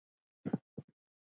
Þeir kunni ekki annað.